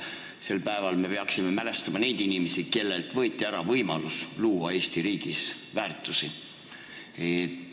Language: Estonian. Sel päeval me peaksime mälestama neid inimesi, kellelt võeti ära võimalus luua Eesti riigis väärtusi.